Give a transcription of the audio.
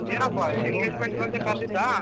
ಏನೊಪ್ಪ engagement ಗಂತ ಕರ್ದಿದ್ದ.